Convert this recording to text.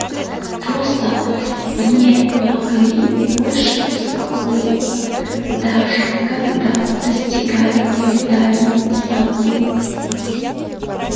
просто не могли больше успокоиться даже когда достигали обитаемой станции